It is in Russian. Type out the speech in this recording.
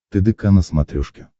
тдк на смотрешке